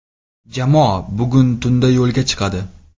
Jamoa bugun tunda yo‘lga chiqadi.